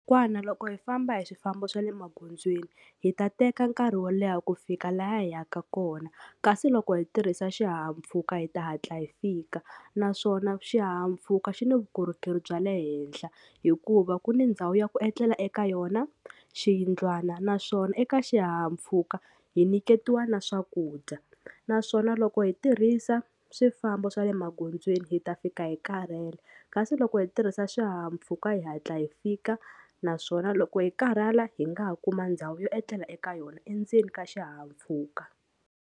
Kokwana loko hi famba hi swifambo swa le magondzweni hi ta teka nkarhi wo leha ku fika laha hi yaka kona kasi loko hi tirhisa xihahampfhuka hi ta hatla hi fika naswona xihahampfhuka xi ni vukorhokeri bya le henhla hikuva ku ni ndhawu ya ku etlela eka yona, xiyindlwana naswona eka xihahampfhuka hi nyiketiwa na swakudya. Naswona loko hi tirhisa swifambo swa le magondzweni hi ta fika hi karhele kasi loko hi tirhisa xihahampfhuka hi hatla hi fika naswona loko hi karhala hi nga ha kuma ndhawu yo etlela eka yona endzeni ka xihahampfhuka.